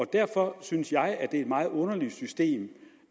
derfor synes jeg at det er et meget underligt system